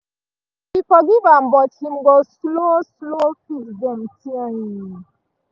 she forgive am but him go slow slow fix dem ting